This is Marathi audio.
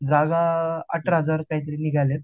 जागा अठरा हजार काहीतरी निघाल्या आहेत